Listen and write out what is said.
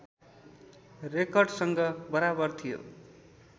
रेकर्डसँग बराबर थियो